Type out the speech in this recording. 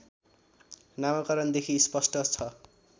नामकरणदेखि स्पष्ट छ